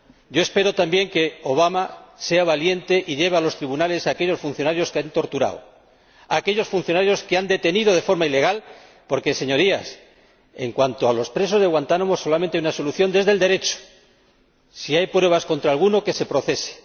Yo espero también que Obama sea valiente y lleve a los tribunales a aquellos funcionarios que han torturado, a aquellos funcionarios que han detenido de forma ilegal, porque, Señorías, para los presos de Guantánamo solamente hay una solución desde el Derecho. Si hay pruebas contra alguno, que se le procese.